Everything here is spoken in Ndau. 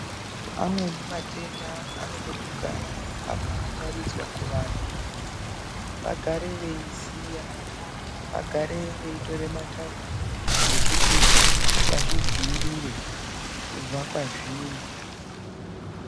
Amweni matenda anoda kugara aka rangaridzwa kuvanhu vagare veyiziya vagare veitora matando ekuti vazvi dzivirire kubva kwazviri.